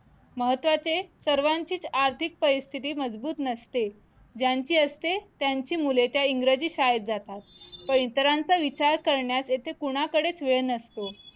महत्वाचे सर्वांचीच आर्थिक परिस्थिती मजबूत नसते ज्यांची असते त्यांची मुले त्या इंग्रजी शाळेत जातात पण इतरांचा विचार करण्यात येते कोणाकडेच वेळ नसतो